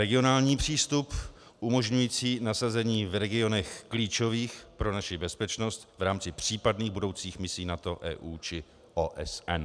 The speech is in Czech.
Regionální přístup umožňující nasazení v regionech klíčových pro naši bezpečnost v rámci případných budoucích misí NATO, EU či OSN.